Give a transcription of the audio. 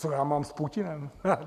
Co já mám s Putinem?